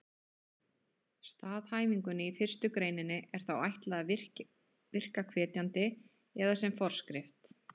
Staðhæfingunni í fyrstu greininni er þá ætlað að virka hvetjandi eða sem forskrift!